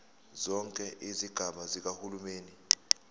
zonke izigaba zikahulumeni